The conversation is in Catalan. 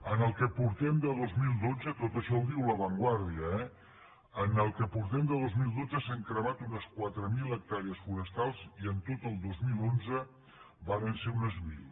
en el que portem de dos mil dotze tot això ho diu la vanguardia eh s’han cremat unes quatre mil hectàrees forestals i en tot el dos mil onze varen ser unes mil